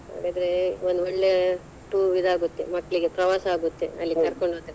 ಹಾಗಾದ್ರೆ ಒಂದ್ ಒಳ್ಳೆ tour ಇದಾಗುತ್ತೆ ಮಕ್ಕಳಿಗೆ ಪ್ರವಾಸ ಆಗುತ್ತೆ ಅಲ್ಲಿ ಕರ್ಕೊಂಡ್ ಹೋದ್ರೆ.